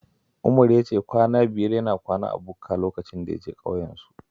Umar ya ce kwanan biyar yana kwana a bukka lokacin da ya je ƙauyensu